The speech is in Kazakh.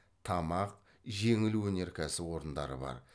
тамақ жеңіл өнеркәсіп орындары бар